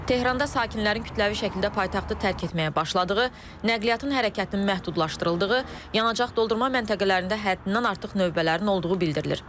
Tehranda sakinlərin kütləvi şəkildə paytaxtı tərk etməyə başladığı, nəqliyyatın hərəkətinin məhdudlaşdırıldığı, yanacaq doldurma məntəqələrində həddindən artıq növbələrin olduğu bildirilir.